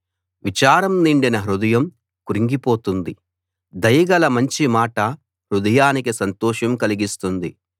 విచారం నిండిన హృదయం క్రుంగిపోతుంది దయగల మంచి మాట హృదయానికి సంతోషం కలిగిస్తుంది